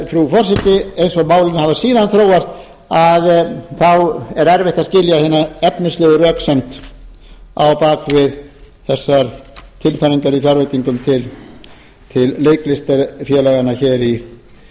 frú forseti eins og málin hafa síðan þróast að þá er erfitt að skilja hina efnislegu röksemd á bak við þessar tilfæringar í fjárveitingum til leiklistarfélaganna hér